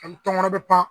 Ani tɔnkɔnɔ bɛ pan